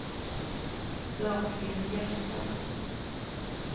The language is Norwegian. Dagfinn Gjerstad